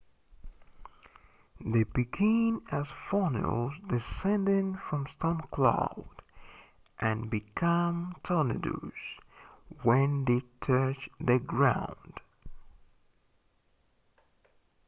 they begin as funnels descending from storm clouds and become tornadoes when they touch the ground